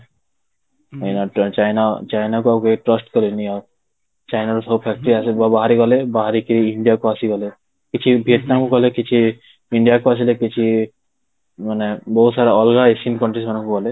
China, China କୁ ଆଉ କେହି trust କରିବେନି ଆଉ, ଚାଇନା ର ସବୁ factory ବାହାରିଗଲେ ବାହାରିକି ଇଣ୍ଡିଆ ଆସିଗଲେ, କିଛି ଭିଏତନାମ ଗଲେ କିଛି ଇଣ୍ଡିଆକୁ ଆସିଲେ କିଛି ମାନେ ବହୁତ ସାରା ଅଲଗା ଏସିଆନ countries ମାନଙ୍କୁ ଗଲେ